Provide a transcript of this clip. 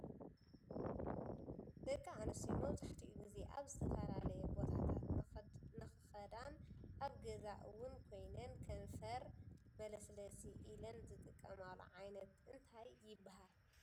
ደቂ ኣንስትዮ መብዛሕቲኡ ግዜ ኣብ ዝተፈላለየ ቦታት ንክከዳን ኣብ ገዛ እውን ኮይነን ከንፈር መለስለሲ ኢለን ዝጥቀማሉ ዓይነት እንታይ ይብሃል ?